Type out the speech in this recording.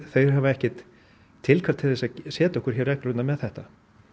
þeir hafa ekkert tilkall til þess að setja okkur reglurnar með þetta